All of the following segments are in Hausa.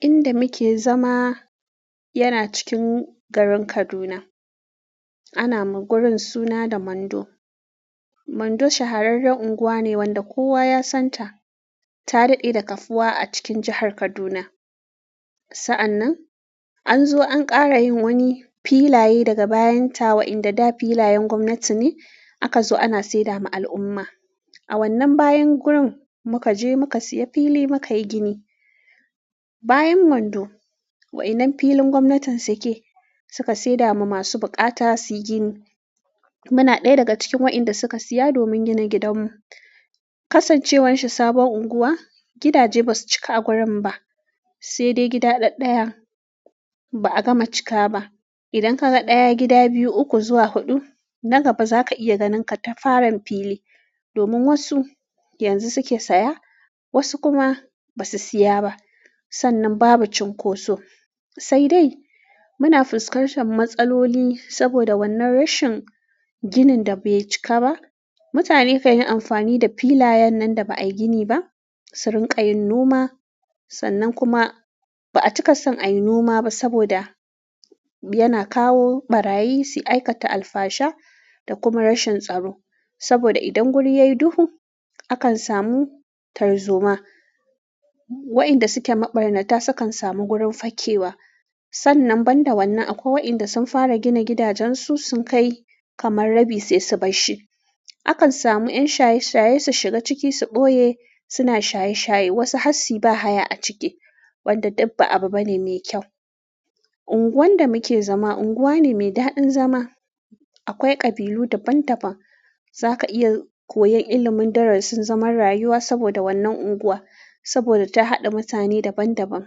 Inda muke zama yana cikin garin Kaduna. Ana ma gurin suna da Mando. Mando shahararren unguwa ne wanda kowa ya santa ta daɗe da kafuwa a cikin jihar Kaduna. Sa'an nan, an zo an ƙara yin wani filaye daga bayan ta wa'inda da filayen gwamnati ne aka zo ana seda ma al'umma. A wannan bayan gurin muka je muka siya fili muka yi gini. Bayan Mando, waɗannan filin gwamnatin suke, suka seda ma masu buƙata suyi gini. Muna ɗaya daga cikin waɗanda suka siya domin gina gidanmu. Kasancewan shi sabuwar unguwa gidaje basu cika a gurin ba saidai gida dad ɗaya ba a gama cika ba idan ka ga ɗaya gida, biyu, uku zuwa huɗu, na gaba za ka iya ganin katafaren fili. Domin wasu yanzu suke saya, wasu kuma basu siya ba. Sannan babu cunkoso sai dai muna fuskantar matsaloli saboda wannan rashin ginin da bai cika ba. Mutane kan yi amfani da filayen nan da ba a yi gini ba su rinƙa yin noma. Sannan kuma ba a cika son a yi noma ba saboda yana kawo ɓarayi su aikata alfasha da kuma rashin tsaro. Saboda idan guri yayi duhu, akan samu tarzoma. Waɗanda suke maɓarnata sukan samu gurin fakewa. Sannan banda wannan akwai waɗanda sun fara gina gidajen su sun kai kamar rabi sai su bar shi. Akan samu 'yan shaye-shaye su shiga ciki su ɓoye suna shaye-shaye. Wasu hatsi ba haya a ciki, wanda duk ba abu bane mai kyau. Unguwan da muke zama unguwa ne mai daɗin zama. Akwai ƙabilu daban-daban. Za ka iya koyan ilimin darasin zaman rayuwa saboda wannan unguwa, saboda ta haɗa mutane daban-daban.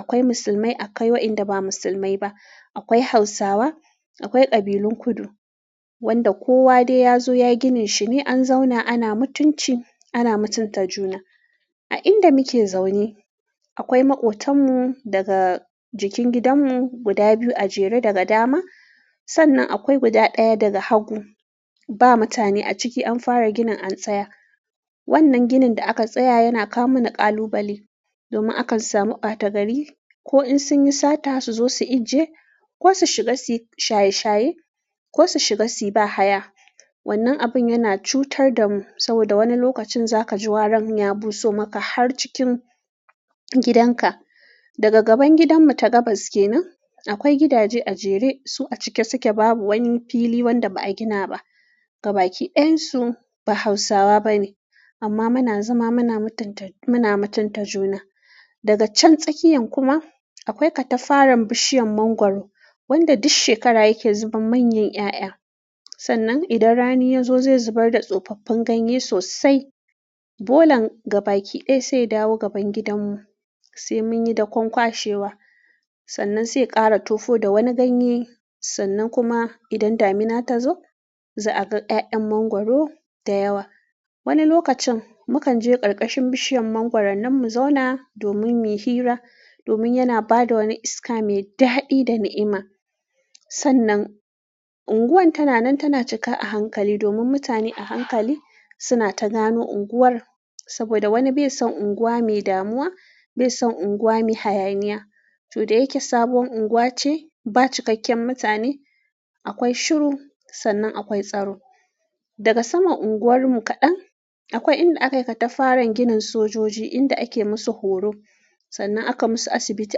Akwai musulmai, akwai waɗanda ba musulmai ba. Akwai Hausawa, akwai ƙabilun kudu, wanda kowa dai ya zo ya ginin shi ne an zauna ana mutunci, ana mutunta juna. A inda muke zaune akwai maƙotan mu daga jikin gidanmu guda biyu a jere daga dama. Sannan akwai guda ɗaya daga hagu. Ba mutane a ciki an fara ginin an tsaya. Wannan ginin da aka tsaya yana kawo mana ƙalubale domin akan samu bata-gari ko in sun yi sata su zo su ije ko su shiga su yi shaye-shaye ko su shiga su yi ba haya. Wannan abun yana cutar da mu saboda wani lokacin za ka ji waran ya buso maka har cikin gidan ka. Daga gaban gidanmu ta gabas kenan akwai gidaje a jere su a cike suke babu wani fili wanda ba a gina ba. Gabaki ɗayan su ba Hausawa bane amma muna zama muna mutan-muna mutunta juna. Daga can tsakiyan kuma akwai katafaren bishiyar mangwaro wadda duk shekara yake zuba manyan 'ya'ya. Sannan idan rani ya zo zai zubar da tsofaffin ganye sosai. Bolan gabaki ɗaya sai ya dawo gaban gidanmu sai mun yi dakon kwashewa. Sannan sai ye ƙara tufo da wani ganye. Sannan kuma idan damina ta zo za a ga 'ya'yan mangwaro da yawa. Wani lokacin mu kan je ƙarƙashin bishiyar mangwaron nan mu zauna domin mu hira domin yana ba da wani iska mai daɗi da ni'ima. Sannan unguwar tana nan tana cika a hankali domin mutane a hankali suna ta gano unguwar saboda wani bai san unguwa me damuwa, bai san unguwa me hayaniya. Tuɗe yake sabuwar unguwa ce ba cikakken mutane. Akwai shiru sannan akwai tsaro. Daga saman unguwarmu kaɗan akwai inda aka yi katafaren ginin sojoji inda ake musu horo sannan aka musu asibiti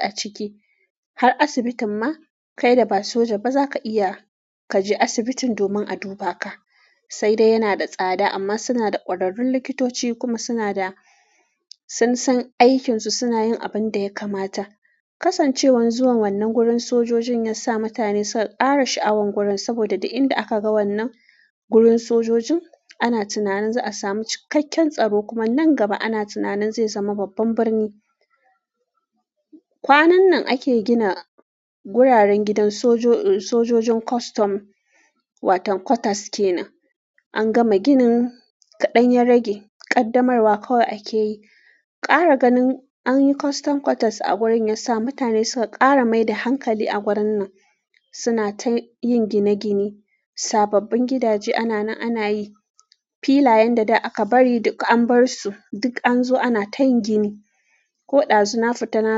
a ciki. Har asibitin ma kai da ba soja ba za ka iya ka je asibitin domin a duba ka. Saidai yanada tsada amma sunada kwararrun likitoci kuma sunada sunsan aikisu sunayin abin da ya kamata. Kasancewan zuwan wannan gurin sojojin ya sa mutane suka ƙara sha'awar gurin saboda duk inda aka ga wannan gurin sojojin ana tunanin za a samu cikakken tsaro kuma nan gaba ana tunanin zai zama babban birni. Kwanan nan ake gina guraren gidan sojo-sojojin custom watan quarters ke nan. An gama ginin kaɗan ya rage ƙaddamarwa kawai ake yi. Ƙara ganin an yi custom quarters a wurin ya sa mutane suka ƙara mai da hankali a gurin nan. Suna ta yin gine-gine. Sababbin gidaje ana nan ana yi. Filayen da da aka bari an bar su duk an zo ana tayin gini. Ko ɗazu na fita na.